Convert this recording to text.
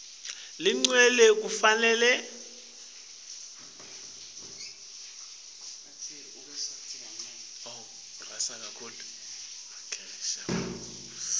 legcwele kufanele kwemukelwe